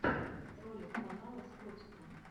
ролик канала с котиком